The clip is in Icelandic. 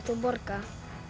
og borga